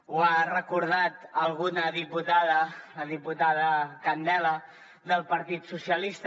ho ha recordat alguna diputada la diputada candela del partit socialista